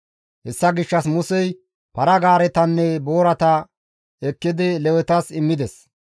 Hessa gishshas Musey para-gaaretanne boorata ekkidi Lewetas immides.